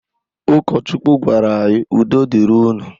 Ụkọchukwu gwara anyị 'udo dịrị unu'.